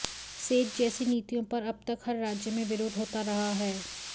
says जैसी नीतियों पर अब तक हर राज्य में विरोध होता रहा है